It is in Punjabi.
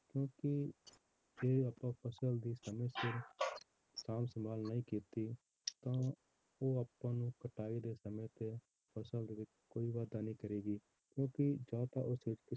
ਕਿਉਂਕਿ ਜੇ ਆਪਾਂ ਫਸਲ ਦੀ ਸਮੇਂ ਸਿਰ ਸਾਂਭ ਸੰਭਾਲ ਨਹੀਂ ਕੀਤੀ ਤਾਂ ਉਹ ਆਪਾਂ ਨੂੰ ਕਟਾਈ ਦੇ ਸਮੇਂ ਤੇ ਫਸਲ ਦੇ ਵਿੱਚ ਕੋਈ ਵਾਧਾ ਨਹੀਂ ਕਰੇਗੀ ਕਿਉਂਕਿ ਜਾਂ ਤਾਂ ਉਸ ਵਿੱਚ